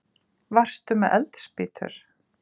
Varstu með eldspýtur?